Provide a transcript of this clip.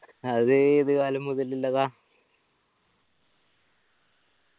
അത് ഏത് കാലം മുതല് ഇള്ളതാ